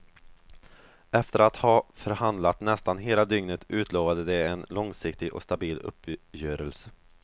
Efter att ha förhandlat nästan hela dygnet utlovade de en långsiktig och stabil uppgörelse.